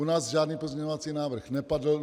U nás žádný pozměňovací návrh nepadl.